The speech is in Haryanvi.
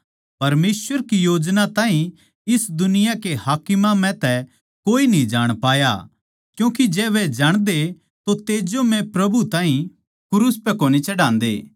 परमेसवर की योजना ताहीं इस दुनिया के हाकिमां म्ह तै कोए न्ही जाण पाया क्यूँके जै वे जाणदे तो तेजोमय प्रभु ताहीं क्रूस पै कोनी चढ़ान्दे